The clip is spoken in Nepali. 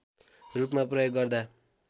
रूपमा प्रयोग गर्दा